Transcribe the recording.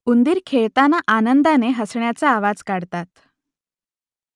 उंदीर खेळताना आनंदाने हसण्याचा आवाज काढतात